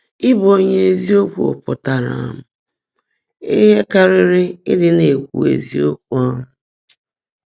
Ị́bụ́ ónyé ézíokwú pụ́tárá um íhe kárị́rị́ nàní ị́dị́ ná-èkwú ézíokwú. um